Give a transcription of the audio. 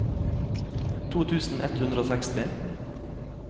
to tusen ett hundre og seksti